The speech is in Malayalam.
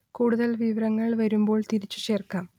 കൂടുതൽ വിവരങ്ങൾ വരുമ്പോൾ തിരിച്ചു ചേർക്കാം